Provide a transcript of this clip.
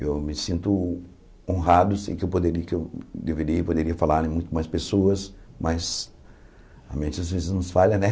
Eu me sinto honrado, sei que eu poderi que eu deveria e poderia falar em muito mais pessoas, mas a mente às vezes nos falha, né?